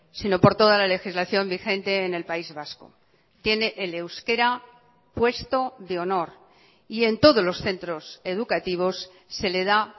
sino por toda la legislación vigente en el país vasco tiene el euskera puesto de honor y en todos los centros educativos se le da